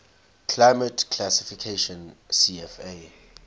climate classification cfa